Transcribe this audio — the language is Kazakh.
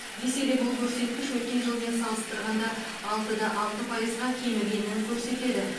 десе де бұл көрсеткіш өткен жылмен салыстырғанда алты да алты пайызға кемігенін көрсетеді